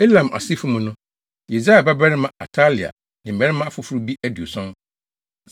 Elam asefo mu no: Yesaia babarima Atalia ne mmarima afoforo bi aduɔson.